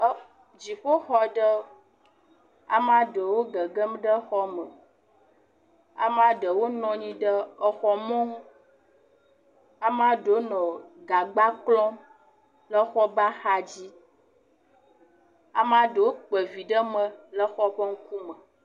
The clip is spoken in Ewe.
Dziƒoxɔ ɖe, amea ɖewo nɔ anyi ɖe xɔ me, amea ɖewo nɔ anyi ɖe exɔ mɔnu, amea ɖewo nɔ gagba klɔm le xɔa ƒe axadzi, amea ɖewo kpa vi ɖe me le xɔa ƒe ŋkume.